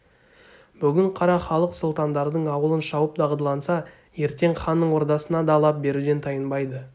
бүгін қара халық сұлтандардың ауылын шауып дағдыланса ертең ханның ордасына да лап беруден тайынбайды